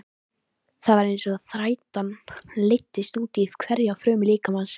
Það var einsog þreytan læddist útí hverja frumu líkamans.